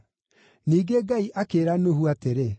Ningĩ Ngai akĩĩra Nuhu atĩrĩ,